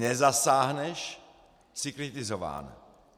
Nezasáhneš - jsi kritizován.